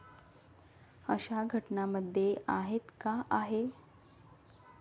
अशा घटनांमध्ये आहेत का आहे?